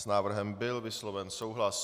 S návrhem byl vysloven souhlas.